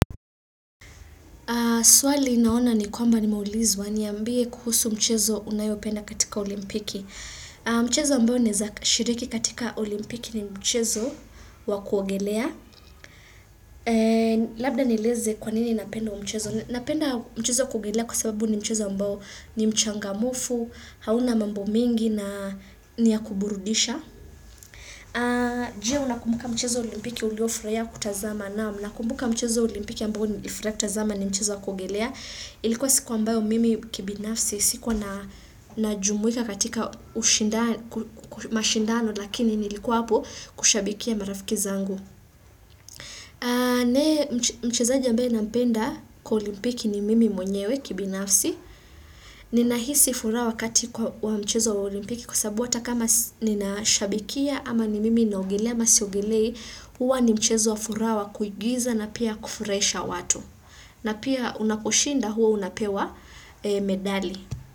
Swali naona ni kwamba nimeulizwa niambie kuhusu mchezo unaopenda katika olimpiki. Mchezo ambao naeza shiriki katika olimpiki ni mchezo wa kuogelea. Labda nieleze kwanini napenda huu mchezo. Napenda mchezo kuogelea kwa sababu ni mchezo ambao ni mchangamfu, hauna mambo mengi na ni wa kuburudisha. Je unakumbuka mchezo olimpiki uliofurahia kutazama naam nakumbuka mchezo olimpiki ambao nilifurahi kutazama ni mchezo wa kuogelea. Ilikuwa siku ambao mimi kibinafsi sikuwa najumuika katika mashindano lakini nilikuwa hapo kushabikia marafiki zangu. Mchezaji ambaye nampenda kwa olimpiki ni mimi mwenyewe kibinafsi. Ninahisi furaha wakati wa mchezo wa olimpiki kwa sababu hata kama ninashabikia ama ni mimi naogelea ama siogelei huwa ni mchezo wa furaha wa kuigiza na pia kufurahisha watu. Na pia unaposhinda huwa unapewa medali.